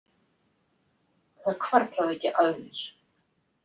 Það hvarflaði ekki að mér.